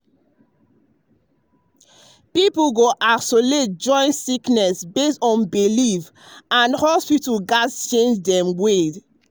people go isolate to avoid sickness based on belief and hospitals go gats change dem way.